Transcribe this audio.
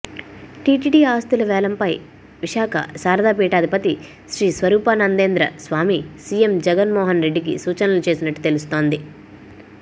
TTD ఆస్తుల వేలంపై విశాఖ శారదా పీఠాధిపతి శ్రీ స్వరూపానందేంద్ర స్వామి సీఎం జగన్మోహన్ రెడ్డికి సూచనలు చేసినట్టు తెలుస్తోంది